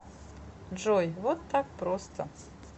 джой вот так просто